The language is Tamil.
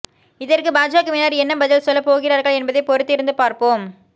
இதற்கு பாஜகவினர் என்ன பதில் சொல்லப் போகிறார்கள் என்பதை பொறுத்திருந்து பார்ப்போம்